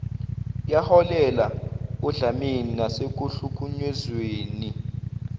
yaholela odlameni nasekuhlukunyezweni